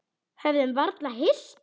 Höfðum varla hist.